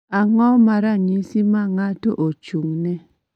Ang�o ma ranyisi ma ng�ato ochung�ne?